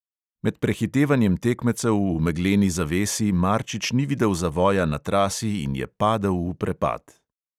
Med prehitevanjem tekmecev v megleni zavesi marčič ni videl zavoja na trasi in je padel v prepad.